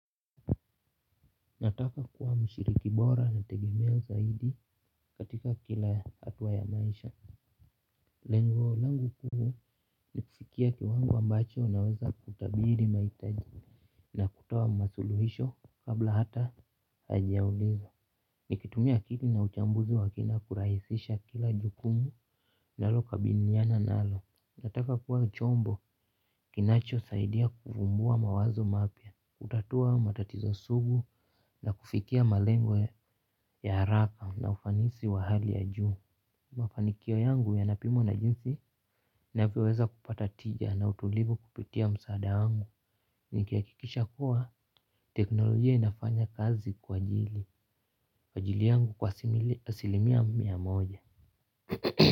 Nataka kuwa mshiriki bora nategemeo saidi katika kila hatua ya maisha. Lengo langu kuu ni kufikia kiwango ambacho naweza kutabiri maitaji. Na kutowa masuluhisho kabla hata hajauliza. Nikitumia akili na uchambuzi wakina kurahisisha kila jukumu nalokabiniana nalo. Nataka kuwa chombo kinacho saidia kufumbua mawazo mapya. Kutatua matatizo sugu na kufikia malengwe ya haraka na ufanisi wa hali ya juu. Mafanikio yangu yanapimwa na jinsi navyoweza kupata tija na utulivu kupitia msaada wangu. Nikiakikisha kuwa teknolojia inafanya kazi kwa jili kwa jili yangu kwa asilimia mia moja.